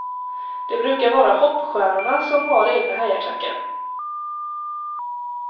Det brukar vara hoppstjärnorna som har egna hejaklackar.